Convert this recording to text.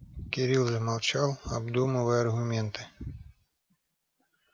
кирилл замолчал обдумывая аргументы